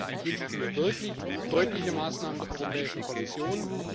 Deswegen wünsche ich mir wirklich deutliche Maßnahmen der Europäischen Kommission.